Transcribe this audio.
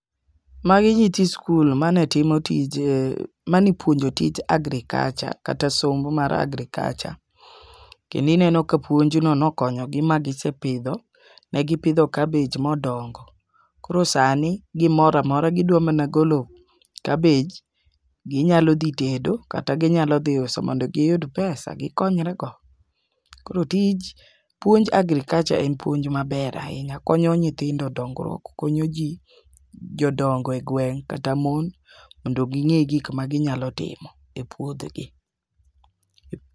Magi nyithi skul mane timo tije manipuonjo tij agriculture kata somo mar agriculture kendi nendo ka puonjno nokonyo gi ma gisepidhpo ne gipidho kabej modongo. Koro sani gimoramora gidwa mana golo kabej, ginyalo dhi tedo kata ginyalo dhi uso mondo giyud pesa gikonyre go. Koro tij puonj mar agriculture en puonj maber ahinya konyo nyithindo dongruok konyoji jodongo e gweng' kata mon mondo ging'e gik ma ginyalo timo e puothegi.